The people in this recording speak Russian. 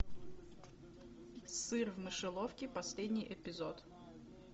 сыр в мышеловке последний эпизод